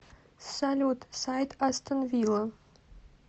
салют сайт астон вилла